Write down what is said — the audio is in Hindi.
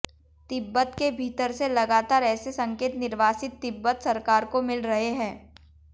तिब्बत के भीतर से लगातार ऐसे संकेत निर्वासित तिब्बत सरकार को मिल रहे हैं